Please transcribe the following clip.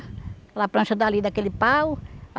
Aquela plancha dali daquele pau.